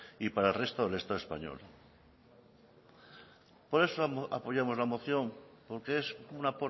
y para el resto del estado español por eso apoyamos la moción porque es una